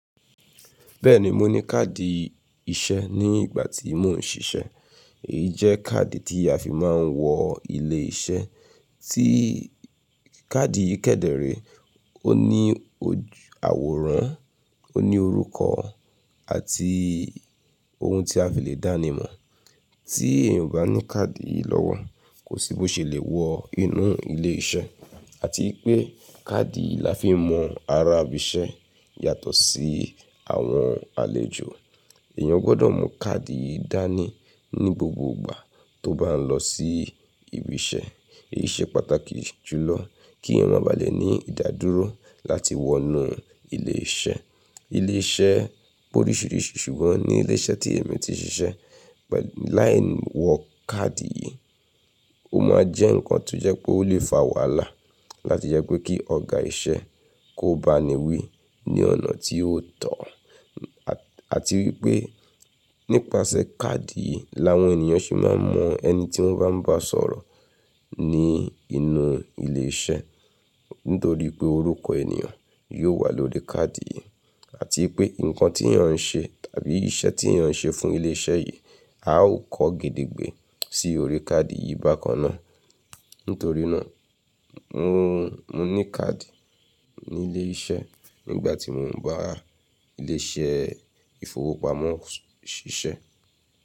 Bẹ́ẹ̀ni, mo ní káàdì iṣẹ́ ní ìgbà tí mò ń ṣiṣẹ́. Èyí jẹ́ káàdì tí a fi máa ń wọ ilé iṣẹ́. Tí káàdì yìí kẹ́dẹ̀rẹ̀, ó ní àwòrán, ó ní orúkọ àti ohun tí a fi lè dánimọ̀. Tí èèyàn ò bá ní káàdì yìí lọ́wọ́, kò sí bó ṣe lè wọ inú ilé iṣẹ́. Àti pé káàdì yìí la fi mọ arábìṣẹ́ yàtọ̀ sí àwọn àlejò. Ẹ̀yàn gbọdọ̀ mú káàdì yìí dání ní gbogbo ìgbà tó bá ń lọ sí ibi iṣẹ́. Èyí ṣe pàtàkì jùlọ kí èèyàn má ba à le ní ìdádúró láti wọ inú ilé iṣẹ́. Ilé iṣẹ́ pe orisirisi, ṣùgbọ́n ní ilé iṣẹ́ tí èmi ti ṣiṣẹ́, láì wọ káàdì yìí, ó máa jẹ́ ǹkan tó jẹ́ pé ó lè fa wàhálà láti jẹ́ pé kí ọ̀gá iṣẹ́ kó ba ni wí ní ọ̀nà tí ó tọ́. Àti wípé nípasẹ̀ káàdì yìí làwọn ènìyàn sì máa mọ ẹni tí wọ́n bá ń bá sọ̀rọ̀ ní inú ilé iṣẹ́. Nítorí pé orúkọ ènìyàn yóò wà lórí káàdì yìí, àti pé ǹkan tí èèyàn ń ṣe tàbí iṣẹ́ tí èèyàn ń ṣe fún ilé iṣẹ́ yìí a ó kọ́ gede gbé sí orí káàdì yìí bákan náà. Nítorí náà mò ní káàdì ní ilé iṣẹ́ nígbà tí mò ń bá ilé iṣẹ́ ìfowópamọ́ ṣiṣẹ́.